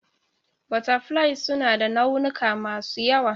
Butterflies suna da launuka masu yawa.